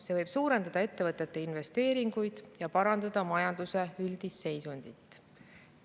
See võib suurendada ettevõtete investeeringuid ja parandada majanduse üldist seisundit.